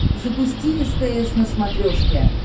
запусти стс на смотрешке